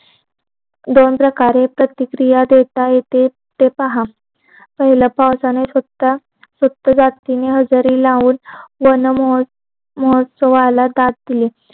दोन प्रकारे प्रतिक्रिया देता येते ते पहा पहिल्या पाऊसाने हाजिरी लावून वन महोत्सवाला दाद दिली